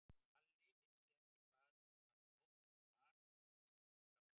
Lalli vissi ekki hvaða hljóð þetta var sem hún sendi frá sér.